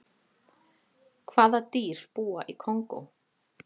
hvaða dýr búa í kongó